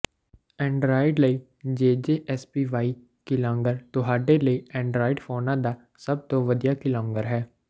Android ਲਈ J J S P Y keylogger ਤੁਹਾਡੇ ਲਈ ਐਂਡਰਾਇਡ ਫੋਨਾਂ ਦਾ ਸਭ ਤੋਂ ਵਧੀਆ ਕੀਲੌਗਰ ਹੈ